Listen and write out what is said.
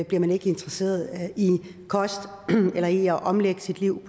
bliver man ikke interesseret i kost eller i at omlægge sit liv